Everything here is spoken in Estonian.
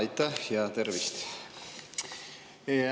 Aitäh ja tervist!